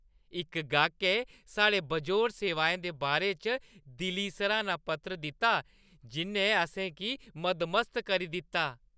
इक गाह्कै साढ़ियें बेजोड़ सेवाएं दे बारे च दिली सरा‌ह्‌ना पत्र दित्ता जि'न्नै असें गी मदमस्त करी दित्ता।